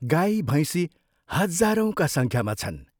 गाई भैंसी हजारौंका संख्यामा छन्।